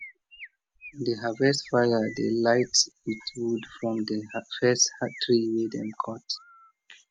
di harvest fire dey light with wood from di first tree wey dem cut